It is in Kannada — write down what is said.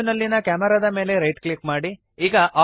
3ದ್ ವ್ಯೂ ನಲ್ಲಿಯ ಕ್ಯಾಮೆರಾದ ಮೇಲೆ ರೈಟ್ ಕ್ಲಿಕ್ ಮಾಡಿರಿ